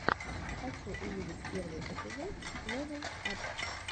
хочу увидеть первый эпизод лэвел ап